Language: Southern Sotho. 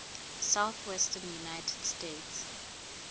southwestern united states